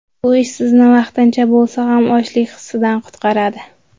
Bu ish sizni vaqtincha bo‘lsa ham ochlik hissidan qutqaradi.